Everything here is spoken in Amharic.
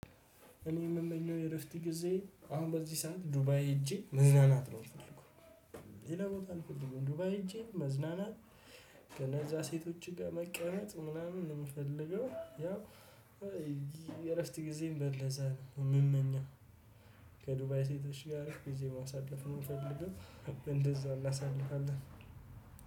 እኔ የምመኘው የ እረፍት ጊዜዬን አሁን በዚህ ሰዓት ዱባይ ሄጄ መዝናናት ነው የምፈልገው። ሌላ ቦታ አልፈልግም ዱባይ ሄጄ መዝናናት። ከነዛ ሴቶች ጋር መቀመጥ ምናምን ነው የምፈልገው። የእረፍት ጊዜዬን በ እንደዛ ነው የምመኘው። ከዱባይ ሴቶች ጋር ጊዜ ማሳለፍ ነው የምፈልገው። እንደዛ እናሳልፋለን